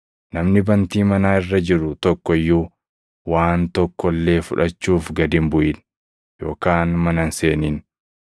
Namni bantii manaa irra jiru tokko iyyuu waan tokko illee fudhachuuf gad hin buʼin yookaan mana hin seenin.